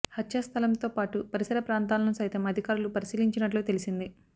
హత్యా స్థలంతో పాటు పరిసర ప్రాంతాలను సైతం అధికారులు పరిశీలించినట్లు తెలిసింది